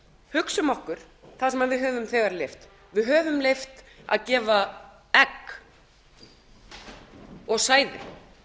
hugsum okkur það sem við höfum þegar leyft við höfum leyft að gefa egg og sæði